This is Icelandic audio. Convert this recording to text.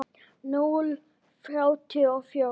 Núll þrjátíu og fjórir.